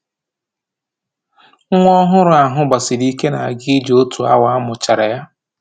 Nwa ọhụrụ ahụ gbasiri ike na-aga ije otu awa a mụchara ya